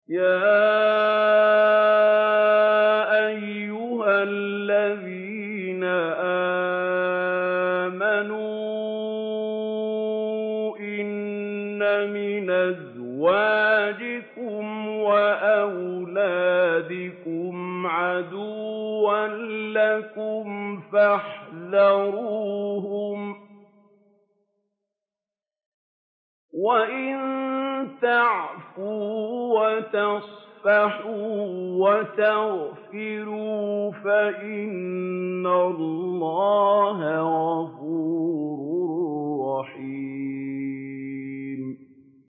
يَا أَيُّهَا الَّذِينَ آمَنُوا إِنَّ مِنْ أَزْوَاجِكُمْ وَأَوْلَادِكُمْ عَدُوًّا لَّكُمْ فَاحْذَرُوهُمْ ۚ وَإِن تَعْفُوا وَتَصْفَحُوا وَتَغْفِرُوا فَإِنَّ اللَّهَ غَفُورٌ رَّحِيمٌ